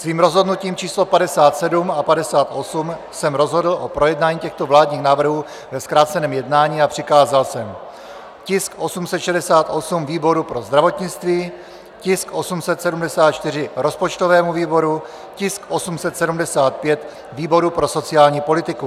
Svým rozhodnutím číslo 57 a 58 jsem rozhodl o projednání těchto vládních návrhů ve zkráceném jednání a přikázal jsem tisk 868 výboru pro zdravotnictví, tisk 874 rozpočtovému výboru, tisk 875 výboru pro sociální politiku.